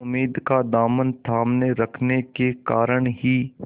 उम्मीद का दामन थामे रखने के कारण ही